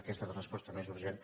aquesta és la resposta més urgent